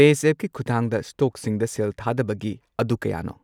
ꯄꯦꯖꯦꯞꯀꯤ ꯈꯨꯊꯥꯡꯗ ꯁ꯭ꯇꯣꯛꯁꯤꯡꯗ ꯁꯦꯜ ꯊꯥꯗꯕꯒꯤ ꯑꯗꯨ ꯀꯌꯥꯅꯣ?